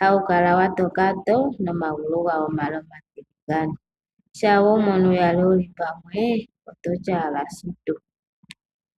Hawu kala wa toka too nomagulu gawo omale omatiligane. Shampa we wu mono uyali wu li pamwe, oto ti owala sutu!